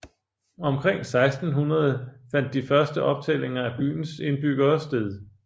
Omkring 1600 fandt de første optællinger af byens indbyggere sted